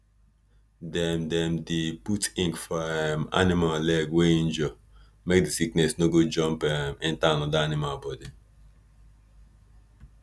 dem dem dey put ink for um animal leg wey injure make the sickness no go jump um enter another animal body